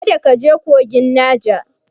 Kada ka je kogin Naja!